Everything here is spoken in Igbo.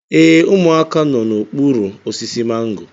Ee, ụmụaka nọ n'okpuru osisi mango